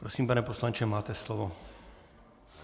Prosím, pane poslanče, máte slovo.